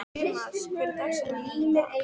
Tumas, hver er dagsetningin í dag?